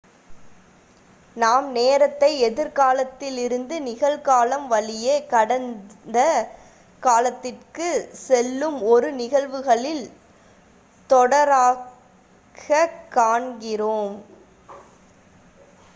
நாம் நேரத்தை எதிர் காலத்திலிருந்து நிகழ் காலம் வழியே கடந்த காலத்துக்குச் செல்லும் ஒரு நிகழ்வுகளின் தொடராகக் காண்கிறோம்